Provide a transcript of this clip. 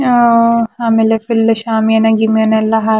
ಆಮೇಲೆ ಫುಲ್ ಶ್ಯಾಮಿಯಾನ ಗಿಮಿಯಾನ ಎಲ್ಲಹಾಕ್--